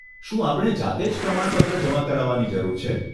શું આપણે જાતે જ પ્રમાણપત્ર જમા કરાવવાની જરૂર છે?